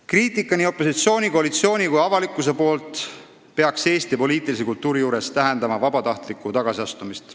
Kriitika opositsiooni, koalitsiooni ja ka avalikkuse poolt peaks Eesti poliitilises kultuuris tähendama vabatahtlikku tagasiastumist.